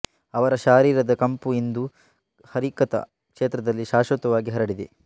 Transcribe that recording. ಅವರ ಶಾರೀರದ ಕಂಪು ಇಂದು ಹರಿಕಥಾ ಕ್ಷೇತ್ರದಲ್ಲಿ ಶಾಶ್ವತವಾಗಿ ಹರಡಿದೆ